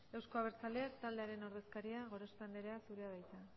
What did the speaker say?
euzko abertzaleak taldearen ordezkaria gorospe anderea zurea da hitza